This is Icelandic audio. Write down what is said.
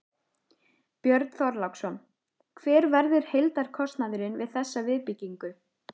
Björn Þorláksson: Hver verður heildarkostnaðurinn við þessa viðbyggingu?